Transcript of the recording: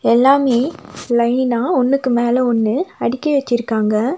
எல்லாமே லைனா ஒன்னுக்கு மேல ஒன்னு அடுக்கி வெச்சிருக்காங்க.